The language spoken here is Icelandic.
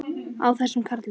Á þessum karli!